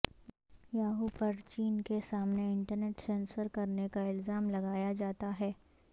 Yahoo پر چین کے سامنے انٹرنیٹ سینسر کرنے کا الزام لگایا جاتا ہے